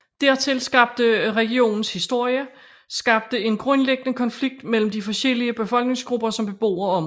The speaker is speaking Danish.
Dertil skabte regionens historie skabte en grundlæggende konflikt mellem de forskellige befolkningsgrupper som bebor området